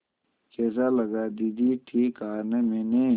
कैसा लगा दीदी ठीक कहा न मैंने